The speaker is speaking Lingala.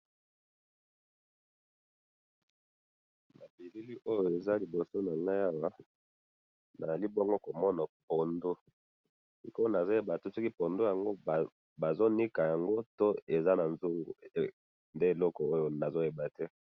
Na moni pondu ba silisi ko nika yango.